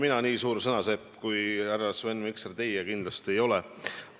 Mina nii suur sõnasepp kui teie, härra Sven Mikser, kindlasti ei ole.